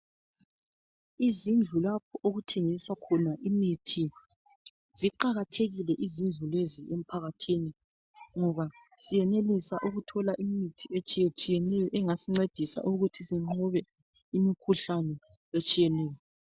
Izindlu lapho okuthengiswa khona imithi. Ziqakathekile kakhulu izindlu lezi emphakathini ngoba senelisa ukuthola imithi etshiyetshiyeneyo engasincedisa ukuthi siqobe imkhuhlane etshiyeneyo.